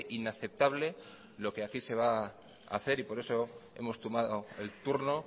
inaceptable lo que aquí se va hacer y por eso hemos tomado el turno